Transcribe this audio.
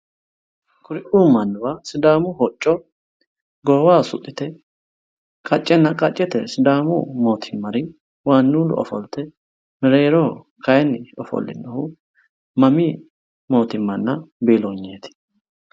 Kuriuu mannuwa sidaamu hocco goowaho suxxite qaccenna qaccete sidaamu mootimmari waannuullu ofolteenna mereeroho kayiinni ofolinohu mamii mootimmanna biillonyeeti.